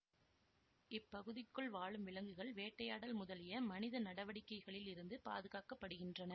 இப்பகுதிக்குள் வாழும் விலங்குகள் வேட்டை யாடல் முதலிய மனித நடவடிக்கைகளில் இருந்து பாதுகாக்கப்படுகின்றன